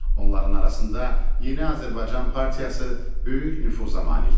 Onların arasında Yeni Azərbaycan Partiyası böyük nüfuza malikdir.